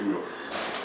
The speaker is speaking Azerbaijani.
Dedim heç kim yoxdur.